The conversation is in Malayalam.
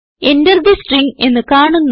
Enter തെ സ്ട്രിംഗ് എന്ന് കാണുന്നു